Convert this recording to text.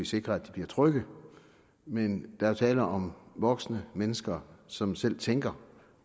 sikre at de bliver trygge men er jo tale om voksne mennesker som selv tænker